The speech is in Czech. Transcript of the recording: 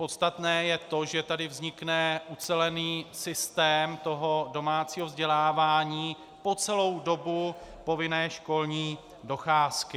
Podstatné je to, že tady vznikne ucelený systém toho domácího vzdělávání po celou dobu povinné školní docházky.